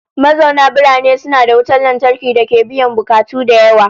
Mazauna birane suna da wutan lantarki dake biyan bukatu da yawa